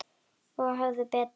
Og höfðu betur.